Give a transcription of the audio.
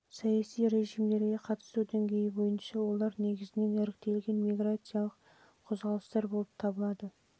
саяси режимдерге қатысу деңгейі бойынша олар негізінен іріктелген миграциялық қозғалыстар болып табылады